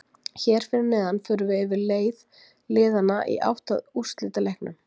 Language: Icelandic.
Hér fyrir neðan förum við yfir leið liðanna í átt að úrslitaleiknum.